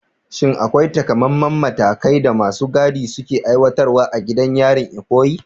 Shin akwai taƙamaiman matakan da masu gadin suka aiwatar a gidan yarin Ikoyi?